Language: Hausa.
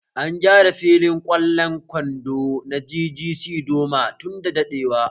An gyara filin ƙwallon kwando na GGC Doma tunda daɗewa